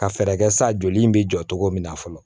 Ka fɛɛrɛ kɛ sa joli in mi jɔ togo min na fɔlɔ